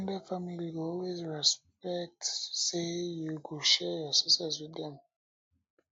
ex ten ded family go always expect say you go share your success with dem